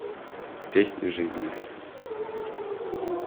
песнь жизни